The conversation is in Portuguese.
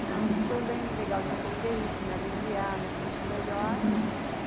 Então, isso foi bem legal de entender isso, me aliviar, me sentir melhor.